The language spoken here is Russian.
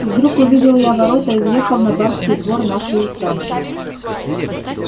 вдруг увидел я ворота и въехал на барский двор нашей усадьбы